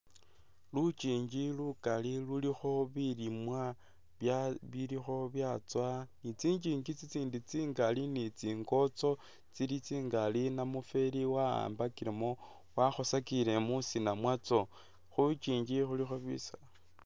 Lukyingi lukali lulikho bilimwa bilikho byatsowa ni tsingyingyi tsingali ni tsingotso tsili tsingali namufeli wakhambakilemo wakhosakile musina mwatso khulukyingi khulikho bisaala.